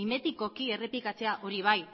mimetikoki errepikatzea hori bai